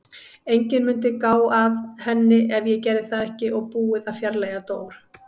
Enginn mundi gá að henni ef ég gerði það ekki og búið að fjarlægja Dór.